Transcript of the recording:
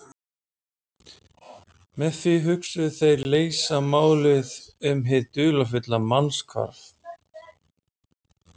Með því hugðust þeir leysa málið um hið dularfulla mannshvarf.